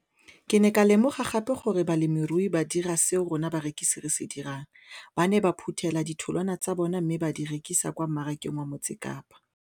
Ke ne ka lemoga gape gore balemirui ba dira seo rona barekisi re se dirang - ba ne ba phuthela ditholwana tsa bona mme ba di rekisa kwa marakeng wa Motsekapa.